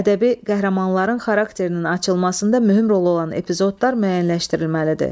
Ədəbi qəhrəmanların xarakterinin açılmasında mühüm rol olan epizodlar müəyyənləşdirilməlidir.